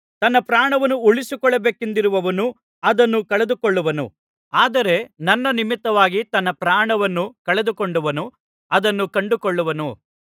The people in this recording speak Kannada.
ತನ್ನ ಪ್ರಾಣವನ್ನು ಉಳಿಸಿಕೊಳ್ಳಬೇಕೆಂದಿರುವವನು ಅದನ್ನು ಕಳೆದುಕೊಳ್ಳುವನು ಆದರೆ ನನ್ನ ನಿಮಿತ್ತವಾಗಿ ತನ್ನ ಪ್ರಾಣವನ್ನು ಕಳೆದುಕೊಂಡವನು ಅದನ್ನು ಕಂಡುಕೊಳ್ಳುವನು